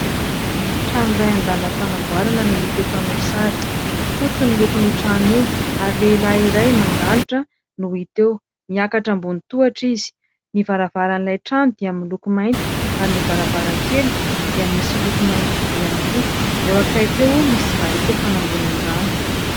Trano iray an-dalam-panamboarana no hita eto amin' ny sary, fotsy ny lokon' io trano io ary lehilahy iray mandalotra no hita eo, niakatra ambon' ny tohatra izy. Ny varavaran' ilay trano dia miloko mainty ary ny varavarankely dia misy loko mainty vy ihany koa, eo akaiky eo misy barika fanangonan-drano.